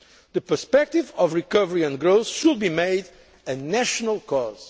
The perspective of recovery and growth should be made a national cause.